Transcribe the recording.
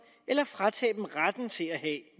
eller at fratage dem retten til at